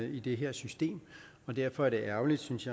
i det her system og derfor er det ærgerligt synes